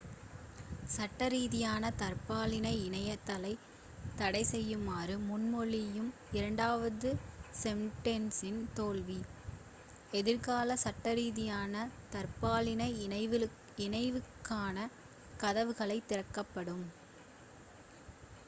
சட்டரீதியான தற்பாலின இணைதலைத் தடைசெய்யுமாறு முன்மொழியும் இரண்டாவது செண்டென்ஸின் தோல்வி எதிர்காலத்தில் சட்டரீதியான தற்பாலின இணைவுக்கான கதவுகளைத் திறக்கக்கூடும்